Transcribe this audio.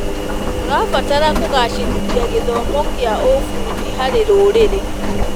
Tũrabatara kũgacĩrithia gĩthomo kĩa ũbundi harĩ rũrĩrĩ.